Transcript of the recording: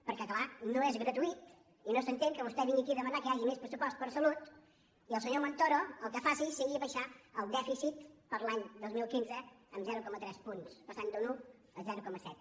perquè és clar no és gratuït i no s’entén que vostè vingui aquí a demanar que hi hagi més pressupost per a salut i el senyor montoro el que faci sigui abaixar el dèficit per a l’any dos mil quinze en zero coma tres punts passant d’un un a zero coma set